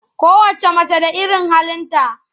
Kowacce mace da irin halinta.